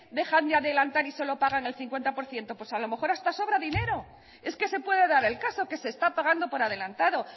dejan de adelantar y solo pagan el cincuenta por ciento pues a lo mejor hasta sobra dinero es que se puede dar el caso que se está pagando por adelantado